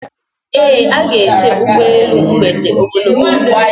E ga-eche ụgbọelu mgbede ogologo oge